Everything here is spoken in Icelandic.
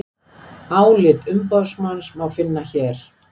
Álit umboðsmanns má finna hér